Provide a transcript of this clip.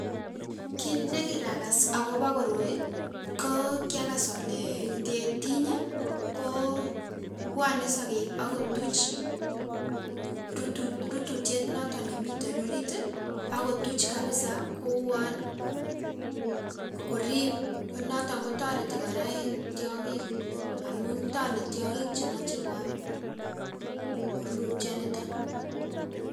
Kin nekirakas agobo koroi koo kiakas ole ingetiny ii, koo kobwone sokek ak kotuch rutu rututiet noton nemiten orit ii akotuch kabisa kouon korib noton kotoreti en tiong'ik amun tole tiong'ik chemoche kuam rurutioniton.